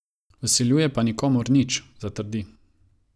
Vsiljuje pa nikomur nič, zatrdi.